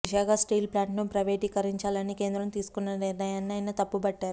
Visakha steel plant ను ప్రైవేటీకరించాలని కేంద్రం తీసుకొన్న నిర్ణయాన్ని ఆయన తప్పుబట్టారు